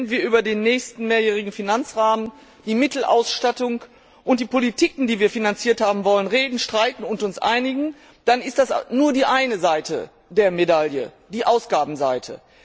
Wenn wir über den nächsten Mehrjährigen Finanzrahmen, die Mittelausstattung und die Politiken, die wir finanziert haben wollen, reden, streiten und uns einigen, dann ist das nur die eine Seite der Medaille, die Ausgabenseite.